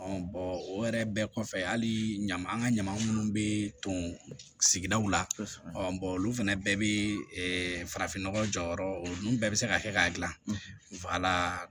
o yɛrɛ bɛɛ kɔfɛ hali ɲama an ka ɲama munnu bɛ to sigidaw la olu fana bɛɛ bɛ farafinnɔgɔ jɔyɔrɔ ninnu bɛɛ bɛ se ka kɛ k'a dilan